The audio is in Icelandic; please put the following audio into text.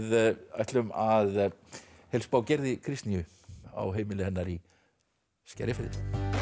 ætlum að heilsa upp á Gerði Kristnýju á heimili hennar í Skerjafirðinum